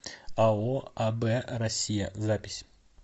ао аб россия запись